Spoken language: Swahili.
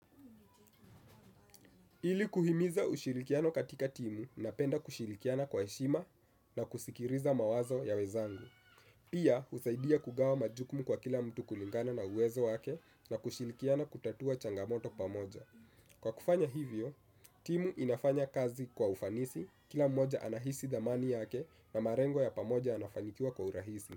Ili kuhimiza ushirikiano katika timu napenda kushirikiana kwa heshima na kusikiliza mawazo ya wenzangu. Pia husaidia kugawa majukumu kwa kila mtu kulingana na uwezo wake na kushirikiana kutatua changamoto pamoja. Kwa kufanya hivyo, timu inafanya kazi kwa ufanisi kila mmoja anahisi dhamani yake na malengo ya pamoja yanafanikiwa kwa urahisi.